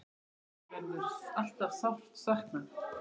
Hans verður alltaf sárt saknað.